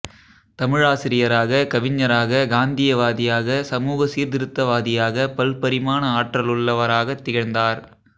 தமிழாசிரியராக கவிஞராக காந்தியவாதியாக சமூக சீர்திருத்தவாதியாக பல்பரிமாண ஆற்றலுள்ளவராகத் திகழ்ந்தார்